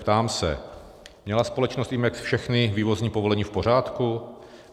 Ptám se: Měla společnost Imex všechny vývozní povolení v pořádku?